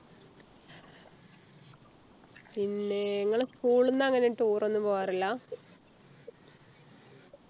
പിന്നെ ഇങ്ങള് School ന്ന് അങ്ങനെ Tour ഒന്നും പോകാറില്ല